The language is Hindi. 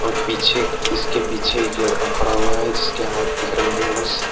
और पीछे इसके पीछे एक लड़का खड़ा हुआ है जिसके हाथ दिख रहे हैं बस।